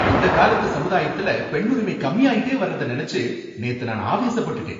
இந்தக் காலத்து சமுதாயத்துல பெண்ணுரிமை கம்மியாயிட்டே வர்றத நனைச்சு நேத்து நான் ஆவேசப்பட்டுட்டேன்.